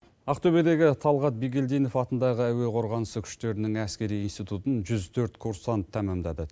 ақтөбедегі талғат бегилдинов атындағы әуе қорғанысы күштерінің әскери институтын жүз төрт курсант тамамдады